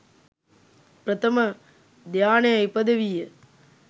ප්‍රථම ධ්‍යානය ඉපිදවීය.